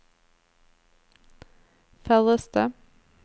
færreste